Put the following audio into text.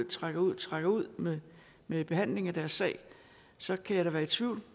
trækker ud og trækker ud med med behandlingen af deres sag så kan jeg da være i tvivl